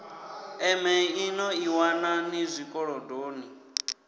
emeḽi no ḓiwana ni zwikolodoni